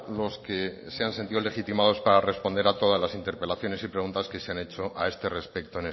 los que se han sentido legitimados para responder a todas las interpelaciones y preguntas que se han hecho a este respecto